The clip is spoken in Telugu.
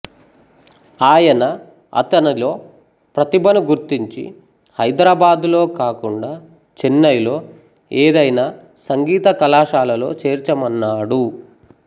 ఆయన అతనిలో ప్రతిభను గుర్తించి హైదరాబాదులో కాకుండా చెన్నైలో ఏదైనా సంగీత కళాశాలలో చేర్చమన్నాడు